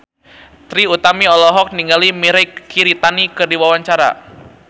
Trie Utami olohok ningali Mirei Kiritani keur diwawancara